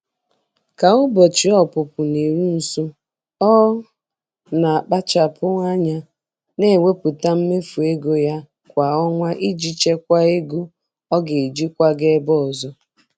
Ka ụbọchị ọpụpụ na-eru nso, ọ na-akpachapụ anya na-ewepụta mmefu ego ya kwa ọnwa iji chekwaa ego ọ ga-eji kwaga ebe ọzọ.